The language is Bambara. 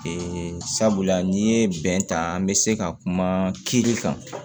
sabula n'i ye bɛn ta an bɛ se ka kuma kiiri kan